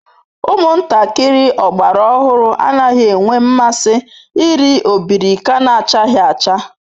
Umuntakiri ogbara ohuru anaghi enwe nmasi iri obirika nachaghi acha